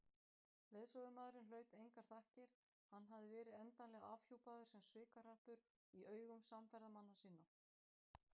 Leiðsögumaðurinn hlaut engar þakkir, hann hafði verið endanlega afhjúpaður sem svikahrappur í augum samferðamanna sinna.